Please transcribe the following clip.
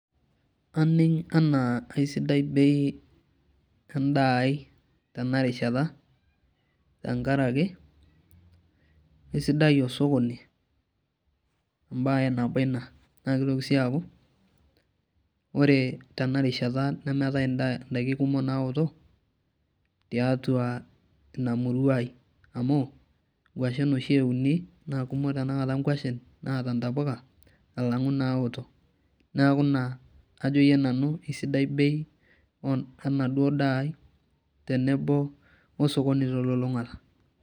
Aning enaa eisidai bei endaa ai tenarishata tenkaraki eisidai osokoni embae nabo ina naa kitoki sii aku ore tenarishata nemeetae ndaiki naoto tiatua ina murua ai, amu nkwashen oshi euni naa kumok tenakata kwashen naata ntapuka alangu naoto ,neeku naa ajoyie nanu eisidai bei enaduo daa ai tenebo osokoni telulungata.